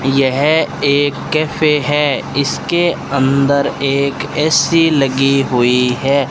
यह एक कैफ़े है इसके अंदर एक ए_सी लगी हुई है।